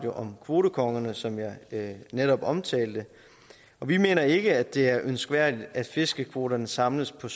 om kvotekongerne som jeg netop omtalte og vi mener ikke det er ønskværdigt at fiskekvoterne samles på